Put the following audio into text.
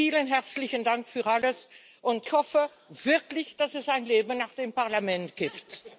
Vielen herzlichen Dank für alles! Ich hoffe wirklich, dass es ein Leben nach dem Parlament gibt.